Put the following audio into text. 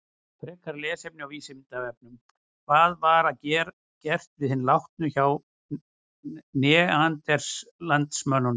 Frekara lesefni á Vísindavefnum: Hvað var gert við hina látnu hjá neanderdalsmönnum?